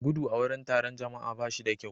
gudu a wurin taron jama'a ba shi da kyau